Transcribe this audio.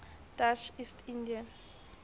dutch east india